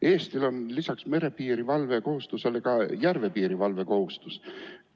Eestil on lisaks merepiirivalve kohustusele ka järvepiirivalve kohustus.